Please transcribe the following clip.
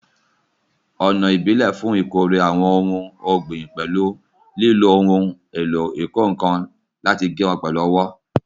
Ọ̀nà ìbílẹ̀ fún ìkórè àwọn ohun ọ̀gbìn pẹ̀lú lílo ohun èlò ìkọ́ nǹkan láti gé wọn pẹ̀lú ọwọ́